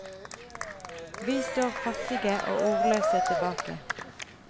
Vi står fattige og ordløse tilbake.